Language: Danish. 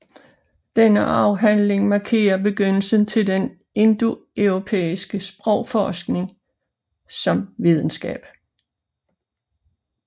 Denne afhandling markerer begyndelsen til den indoeuropæiske sprogforskning som videnskab